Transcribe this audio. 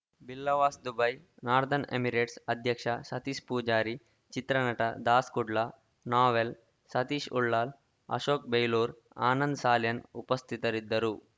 ಬಿಲ್ಲವಾಸ್‌ದುಬೈ northern emirates ಅಧ್ಯಕ್ಷ ಸತೀಶ್‌ ಪೂಜಾರಿ ಚಿತ್ರನಟ ದಾಸ್‌ ಕುಡ್ಲ ನೋವೆಲ್‌ ಸತೀಶ್‌ ಉಳ್ಳಾಲ್‌ ಅಶೋಕ ಬೈಲೂರು ಆನಂದ್‌ ಸಾಲ್ಯಾನ್‌ ಉಪಸ್ಥಿತರಿದ್ದರು